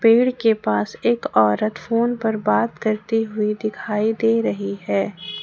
पेड़ के पास एक औरत फोन पर बात करती हुई दिखाई दे रही है।